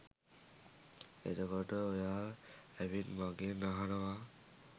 එතකොට ඔයා ඇවිත් මගෙන් අහනවා